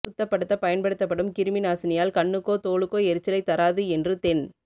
சுத்தப்படுத்தப் பயன்படுத்தப்படும் கிருமிநாசினியால் கண்ணுக்கோ தோலுக்கோ எரிச்சலைத் தராது என்று தென்